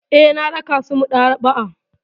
Eh, na raka su maɗaba'a.